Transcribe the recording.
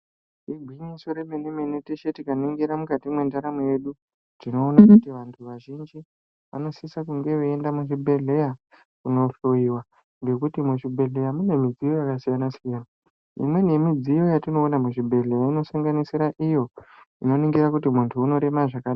Igwinyiso remene-mene, teshe tikaningira mukati mwendaramo yedu, tinoona kuti vantu vazhinji vanosisa kunge veienda muzvibhedhleya kunohloiwa, ngekuti muzvibhedhleya mune midziyo yakasiyana-siyana. Imweni yemidziyo yatinoona muzvibhedhleya, inosanganisira iyo ,inoningira kuti muntu unorema zvakadini.